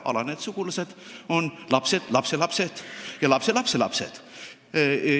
Alanejad sugulased on lapsed, lapselapsed ja lapselapselapsed.